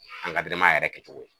yɛrɛ kɛcogo ye.